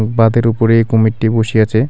বাঁধের উপরে কুমিরটি বসি আচে.